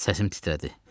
Səsim titrədi.